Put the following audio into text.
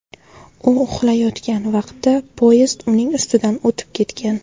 U uxlayotgan vaqtda poyezd uning ustidan o‘tib ketgan.